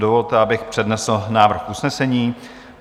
Dovolte, abych přednesl návrh usnesení: